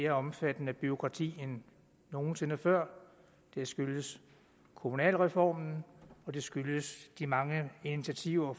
mere omfattende bureaukrati end nogen sinde før det skyldes kommunalreformen og det skyldes de mange initiativer